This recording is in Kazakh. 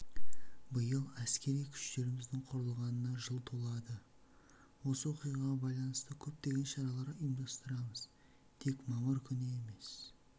биыл әскери күштеріміздің құрылғанына жыл толады осы оқиғаға байланысты көптеген шаралар ұйымдастырамыз тек мамыр күні емес